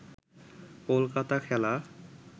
কলকাতা খেলা